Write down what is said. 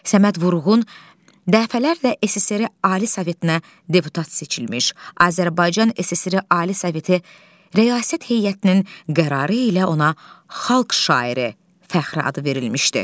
Səməd Vurğun dəfələrlə SSRİ Ali Sovetinə deputat seçilmiş, Azərbaycan SSRİ Ali Soveti Rəyasət Heyətinin qərarı ilə ona Xalq şairi fəxri adı verilmişdi.